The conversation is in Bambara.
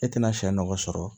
E tɛna sɛ nɔgɔ sɔrɔ